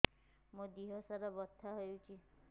ମୋ ଦିହସାରା ବଥା ହଉଚି